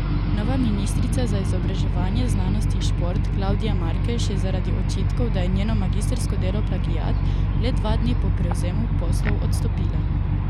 Nova ministrica za izobraževanje, znanost in šport Klavdija Markež je zaradi očitkov, da je njeno magistrsko delo plagiat, le dva dni po prevzemu poslov odstopila.